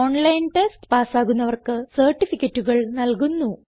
online test പാസ്സാകുന്നവർക്ക് സർട്ടിഫികറ്റുകൾ നല്കുന്നു